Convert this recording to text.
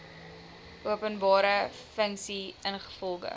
openbare funksie ingevolge